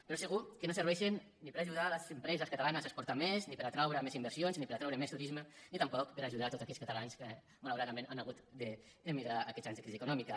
però segur que no serveixen ni per ajudar les empreses catalanes a exportar més ni per atraure més inversions ni per atraure més turisme ni tampoc per ajudar a tots aquells catalans que malauradament han hagut d’emigrar aquests anys de crisi econòmica